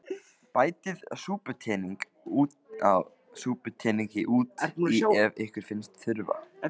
Bætið súputeningi út í ef ykkur finnst þurfa.